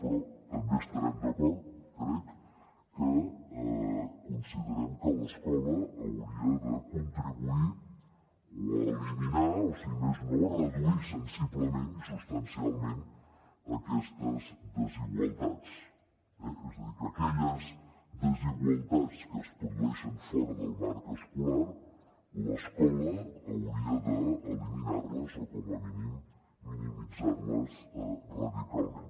però també estarem d’acord crec que considerem que l’escola hauria de contribuir o a eliminar o si més no a reduir sensiblement i substancialment aquestes desigualtats eh és a dir que aquelles desigualtats que es produeixen fora del marc escolar l’escola hauria d’eliminar les o com a mínim minimitzar les radicalment